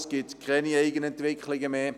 Es gibt keine Eigenentwicklungen mehr;